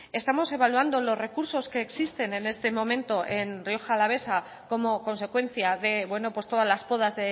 estamos evaluando los recursos que existen en este momento en rioja alavesa como consecuencia de todas las podas